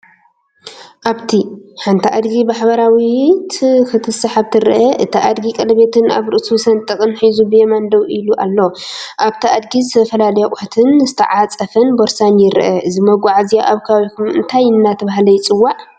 ኣብቲ፡ሓንቲ ኣድጊ ብሓባራዊት ክትስሓብ ትርአ። እቲ ኣድጊ ቀለቤትን ኣብ ርእሱ ስንጥቕን ሒዙ ብየማን ደው ኢሉ ኣሎ። ኣብቲ ኣድጊ ዝተፈላለዩ ኣቑሑትን ዝተዓጽፈ ቦርሳን ይረአ። እዚ መጓዓዝያ ኣብ ከባቢኩም እንታይ አንዳተባሃለ ይፅዋዕ?